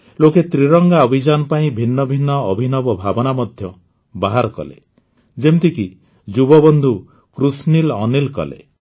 ଲୋକେ ତ୍ରିରଙ୍ଗା ଅଭିଯାନ ପାଇଁ ଭିନ୍ନ ଭିନ୍ନ ଅଭିନବ ଭାବନା ମଧ୍ୟ ବାହାର କଲେ ଯେମିତିକି ଯୁବବନ୍ଧୁ କୃଷ୍ଣିଲ୍ ଅନିଲ୍ କଲେ